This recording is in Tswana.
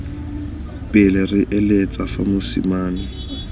pele re eletsa fa mosimane